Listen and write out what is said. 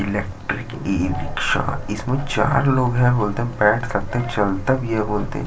Electric e rickshaw इसमें चार लोग है बोलते है बैठ सकते है चलता भी है बोलते है।